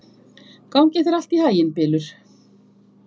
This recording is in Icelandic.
Gangi þér allt í haginn, Bylur.